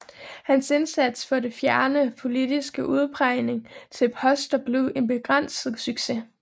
Hans indsats for at fjerne politisk udpegning til poster blev en begrænset succes